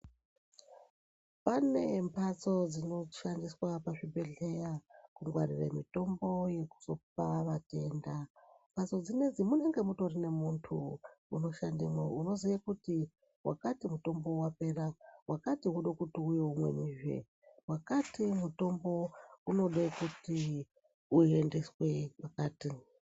Pane mhatso dsinoshandiswe pachibhedhleya kungwarire mutombo yekuhloka vatenda mhatso dsinedzi munenge mutori muntu unoshandemwo unoziye kuti wakati mutombo wapera wakati wode kuti uye umwenizve wakati mutombo unode kuti uendeswe kwakati.